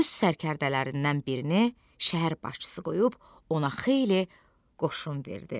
Öz sərkərdələrindən birini şəhər başçısı qoyub ona xeyli qoşun verdi.